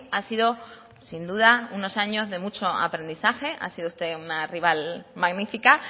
ha sido sin duda unos años de mucho aprendizaje ha sido usted una rival magnífica